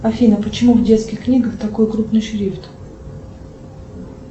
афина почему в детских книгах такой крупный шрифт